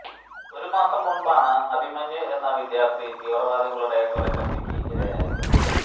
ഒരു മാസം മുന്പാണ് അഭിമന്യു എന്ന വിദ്യാര്ത്ഥി തീവ്ര മതവാദികളുടെ കൊലക്കത്തിക്ക് ഇരയായത്